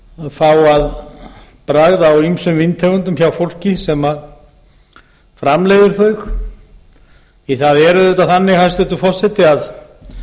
fá að bragða á ýmsum víntegundum hjá fólki sem framleiðir þau því að það er auðvitað þannig hæstvirtur forseti að